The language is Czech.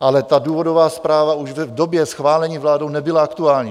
ale ta důvodová zpráva už v době schválení vládou nebyla aktuální.